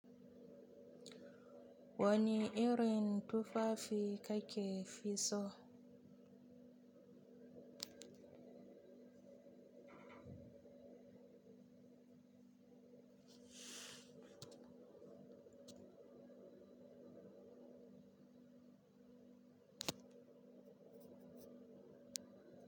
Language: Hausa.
Wani irin tufafi kake fi so?